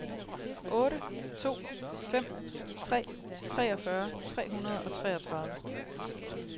otte to fem tre treogfyrre tre hundrede og treogtredive